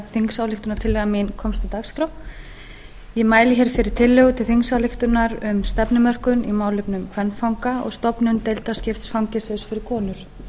þingsályktunartillaga mín komst á dagskrá ég mæli hér fyrir tillögu til þingsályktunar um stefnumörkun í málefnum kvenfanga og stofnun deildaskipts fangelsis fyrir konur